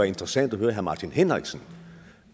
interessant at høre herre martin henriksen